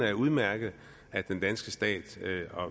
er udmærket at den danske stat